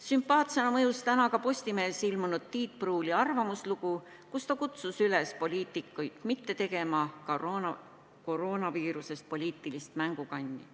Sümpaatsena mõjus ka täna Postimehes ilmunud Tiit Pruuli arvamuslugu, milles ta kutsus poliitikuid üles mitte tegema koroonaviirusest poliitilist mängukanni.